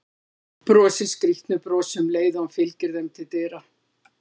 Brosir skrýtnu brosi um leið og hann fylgir þeim til dyra.